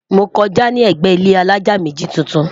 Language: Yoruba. mọ kọjá ní ègbé ilé alájá méjì tuntun